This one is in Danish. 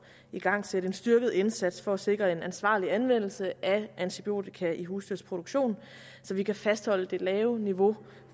igangsætte en styrket indsats for at sikre en ansvarlig anvendelse af antibiotika i husdyrproduktion så vi kan fastholde det lave niveau